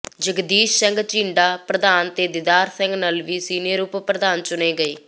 ਜਗਦੀਸ਼ ਸਿੰਘ ਝੀਂਡਾ ਪ੍ਰਧਾਨ ਤੇ ਦੀਦਾਰ ਸਿੰਘ ਨਲਵੀ ਸੀਨੀਅਰ ਉਪ ਪ੍ਰਧਾਨ ਚੁਣੇ ਗਏ